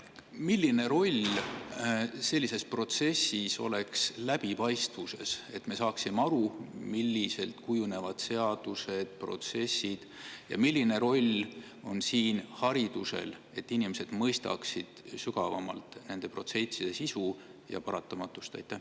Milline roll oleks sellises protsessis läbipaistvusel, et me saaksime aru, kuidas kujunevad seadused ja protsessid, ning milline roll on siin haridusel, et inimesed mõistaksid sügavamalt nende protsesside sisu ja paratamatust.